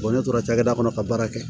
ne tora cakɛda kɔnɔ ka baara kɛ